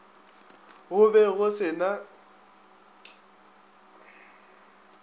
go be go se na